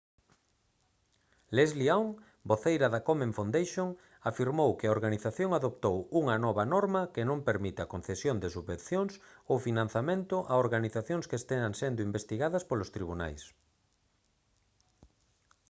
leslie aun voceira da komen foundation afirmou que a organización adoptou unha nova norma que non permite a concesión de subvencións ou financiamento a organizacións que están sendo investigadas polos tribunais